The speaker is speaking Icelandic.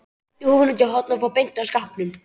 Henti húfunni út í horn og fór beint að skápnum.